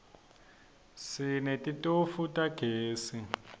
sinetitofu tagezi